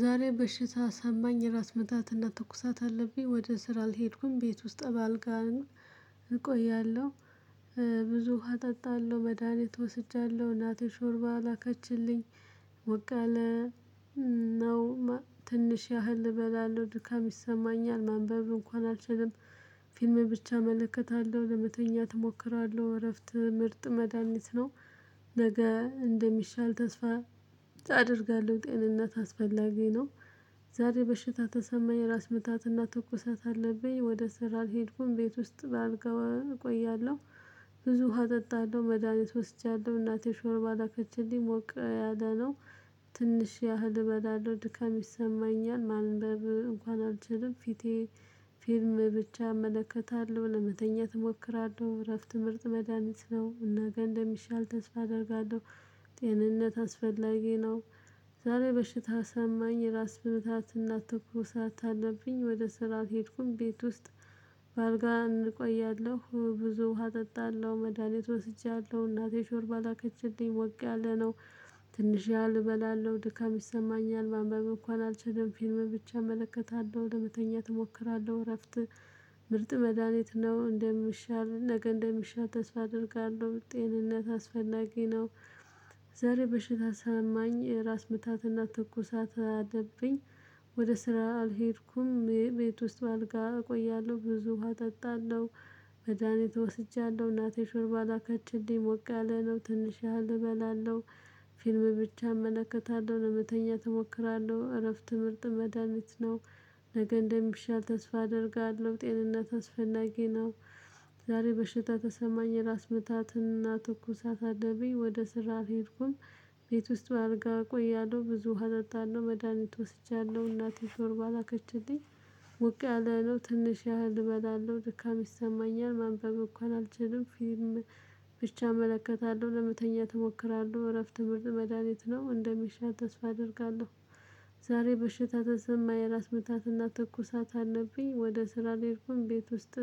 ዛሬ በሽታ ሰማኝ የራስ ምታትና ትኩሳት አለብኝ ወደ ስራ አልሄድኩም ቤት ውስጥ በአልጋ እቆያለሁ። ብዙ ውሃ እጠጣለሁ መድሃኒት እወስጃለሁ። እናቴ ሾርባ ላከችልኝ ሞቅያለ ነው። ትንሽ ያህል እበላለሁ ድካም ይሰማኛል ማንበብ እንኳን አልችልም። ፊልም ብቻ እመለከታለሁ ለመተኛት እሞክራለሁ። እረፍት ምርጥ መዳሚት ነው። ነገ እንደሚሻል ተስፋ አደርጋለሁ። ጤንነት አስፈላጊ ነው። ዛሬ በሽታ ተሰማኝ የራስ ምታትና ተኩሳት አለብኝ ወደ ስራ ሄድኩኝ ቤት ውስጥ በአልጋ ባልቀው እቆያለሁ። ብዙ ውሃ እጠጣለሁ መድሃኒት ወስጃለሁ። እናቴ ሾርባ ላከችልኝ ሞቅ ያለ ነው። ትንሽ ያህል እበላለሁ ድካም ይሰማኛል ማንበብ እንኳን አልችልም። ፊቴ ፊርም ብቻ እመለከታለሁ ለመተኛት እሞክራለሁ። እረፍት ምርጥ መድሃኒት ነው። እና ጋር ገንዘብ እንደሚሻል ተስፋ አደርጋለሁ። ጤንነት አስፈላጊ ነው። ዛሬ በሽታ ሰማኝ ራስ ምታት እና ትኩሳት አለብኝ ወደ ስራ አልሄድኩም ቤት ውስጥ። በአልጋ እንቆያለሁ ብዙ ውሃ እጠጣለሁ መድሃኒት ወስጃለሁ። እናቴ ሾርባ ላከችልኝ ሞቅ ያለ ነው። ትንሽ ያህል እበላለሁ ድካም ይሰማኛል ማንበብ እንኳን አልችልም። ፊልም ብቻ እመለከታለሁ ለመተኛት እሞክራለሁ። እረፍት ምርጥ መድሃኒት ነው። እንደምሻል ነገ እንደምሻል ተስፋ አደርጋለሁ ጤንነት አስፈላጊ ነው። ዛሬ በሽታ ሰማኝ ራስ ምታትና ትኩሳት አለብኝ። ወደ ስራ አልሄድኩም ቤት ውስጥ አልጋ እቆያለሁ ብዙ ውሃ እጠጣለሁ። መድሃኒት ወስጃለሁ እናቴ ሹርባ ላካችንሊ ሞቃለ ነው። ትንሽ ያህል እበላለሁ። ፊልም ብቻ እመለከታለሁ ለመተኛ ትሞክራለሁ እረፍት ምርጥ መድሃኒት ነው። ነገ እንደሚሻል ተስፋ አደርጋለሁ ጤንነት አስፈናጊ ነው። ዛሬ በሽታ ተሰማኝ የራስ ምታትን እና ትኩሳት አደበኝ ወደ ስራህ ሄድኩም። ቤት ውስጥ በአድርጋ ቆያለሁ ብዙ ውሃ እርጣለሁ መድሃኒት ወስጃለሁ እናቴ ጆርባ ላከችልኝ። ውቅ ያለህለው ትንሽ ያህል እበላለሁ ድካም ይሰማኛል ማንበብ እንኳን አልችልም። ፊልም ብቻ እመለከታለሁ ለመተኛ ትሞክራለሁ እረፍት ምርጥ መድሃኒት ነው እንደሚሻ ተስፋ አደርጋለሁ። ዛሬ በሽታ ተሰማኝ የራስ ምታትና ትኩሳት አለብኝ። ወደ ስራ ሄድኩኝ ቤት ውስጥ።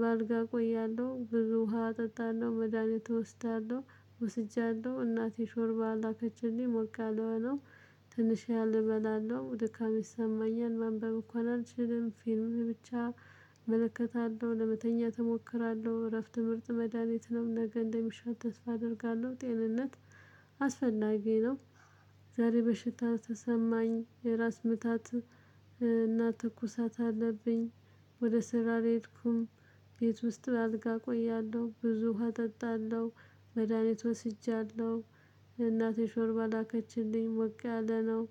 በአልጋ እቆያለሁ ብዙ ውሃ እጠጣለሁ መድሃኒት እወስዳለሁ። ወስጃለሁ እናቴ ሾርባ ላከችልኝ ሞቅ ያለ ነው። ትንሽ ያህል እበላለሁ ደካማ ይሰማኛል። ማንበብ እንኳን አልችልም ፊልም ብቻ እመለከታለሁ ለመተኛ እሞክራለሁ። እረፍት ምርጥ መድሃኒት ነው። ነገ እንደሚሻት ተስፋ አደርጋለሁ ጤንነት አስፈናጊ ነው። ዛሬ በሽታ ተሰማኝ የራስ ምታት እና ትኩሳት አለብኝ። ወደ ስራ አልሄድኩም። ቤት ውስጥ አልጋ እቆያለሁ ብዙ ውሃ እጠጣለሁ መድሃኒት ወስጃለሁ። እናቴ ሾርባ ላከችልኝ ወቅታ አለ ነው።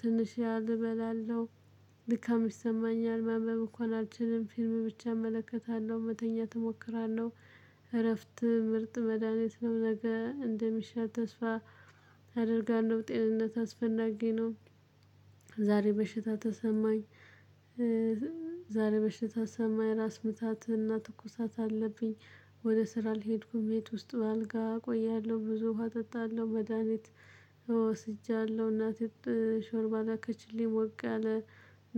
ትንሽ ያህል እበላለሁ። ልካም ይሰማኛል ማንበብ እንኳን አልችልም ፊልም ብቻ እመለከታለሁ መተኛ እሞክራለሁ። እረፍት ምርጥ መድሃኒት ነው። ነገ እንደሚሻል ተስፋ አደርጋለሁ ጤንነት አስፈናጊ ነው። ዛሬ በሽታ ተሰማኝ። ዛሬ በሽታ ተሰማኝ ራስ ምታትንና ትኩሳትን አለብኝ። ወደ ስራ ልሄድኩኝ ቤት ውስጥ በአልጋ እቆያለሁ ብዙ ውሃ እጠጣለሁ መድሃኒት እወስጃለሁ እናቴ ሾርባላ ላከችልኝ ሞቅ አለ።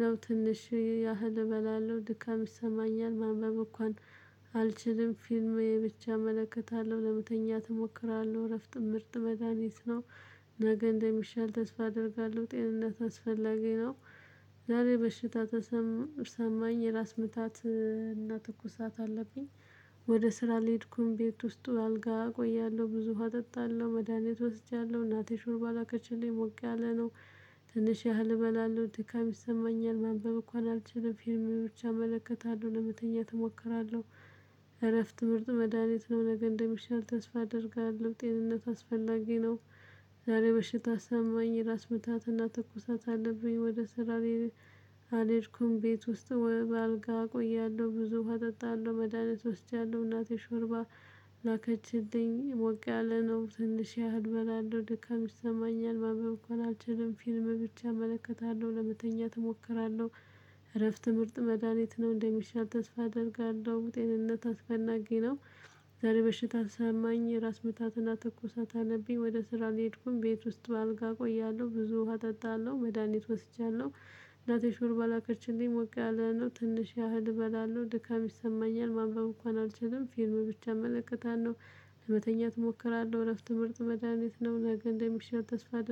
ነው ትንሽ ያህል እበላለሁ ድካም ይሰማኛል ማንበብ እንኳን አልችልም ፊልሜ ብቻ እመለከታለሁ ለመተኛት እሞክራለሁ እረፍት ምርጥ መድሃኒት ነው። ነገ እንደሚሻል ተስፋ አደርጋለሁ ጤንነት አስፈላጊ ነው። ዛሬ በሽታ ተሰማኝ የራስ ምታት እና ትኩሳት አለብኝ። ወደ ስራ ልሄድኩኝ ቤት ውስጡ አልጋ እቆያለሁ ብዙ ውሃ እጠጣለሁ መድሃኒት ወስጃለሁ እናቴ ሹር ባላከችሌ ሞቅ ያለ ነው። ትንሽ ያህል እበላለሁ ድካም ይሰማኛል ማንበብ እኮ አልችልም ፊልም ብቻ እመለከታለሁ ለመተኛት እሞክራለሁ። እረፍት ምርጥ መድሃኒት ነው። ነገ እንደሚሻል ተስፋ አደርጋለሁ ጤንነት አስፈላጊ ነው። ዛሬ መሽታ አሰማኝ ራስ ምታትና ትኩሳት አለብኝ ወደ ስራሌ። ቤት ውስጥ በአልጋ እቆያለሁ ብዙ ውሃ እጠጣለሁ መድሃኒት ወስጃለሁ እናቴ ሾርባ ላከችልኝ ሞቅ ያለ ነው። ትንሽ ያህል በላለው ደካም ይሰማኛል ማንበብ እኮ አልችልም ፊልም ብቻ እመለከታለሁ ለመተኛት እሞክራለሁ። እረፍት ምርጥ መድሃኒት ነው። እንደሚሻል ተስፋ አደርጋለሁ ጤንነት አስፈናጊ ነው። ዛሬ በሽታ አሰማኝ የራስ ምታትና ተኮሳ ታነቢ ወደ ስራ ልሄድኩኝ ቤት ውስጥ በአልጋ እቆያለሁ ብዙ ውሃ ጠጣለሁ መድሃኒት ወስጃለሁ። እናቴ ሹር ላከርችልኝ ሞቅ ያለነው ትንሽ ያህል እበላለሁ ድካም ይሰማኛል ማንበብ እንኳን አልችልም ፊልም ብቻ እመለከታለሁ። ለመተኛት እሞክራለሁ እረፍት ምርጥ መድሃኒት ነው እንደሚሻል ተስፋ አአደርጋለሁ